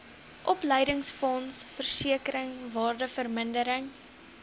opleidingsfonds versekering waardevermindering